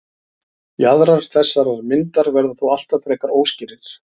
jaðrar þessarar myndar verða þó alltaf frekar óskýrir